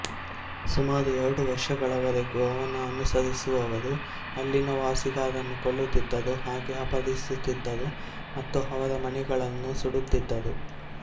ಸುಮಾರು ಎರಡು ವರ್ಷಗಳವರೆಗೂ ಅವನ ಅನುಸರಿಸುವವರು ಅಲ್ಲಿನ ವಾಸಿಗರನ್ನು ಕೊಲ್ಲುತ್ತಿದ್ದರು ಹಾಗೂ ಅಪಹರಿಸುತ್ತಿದ್ದರು ಮತ್ತು ಅವರ ಮನೆಗಳನ್ನು ಸುಡುತ್ತಿದ್ದರು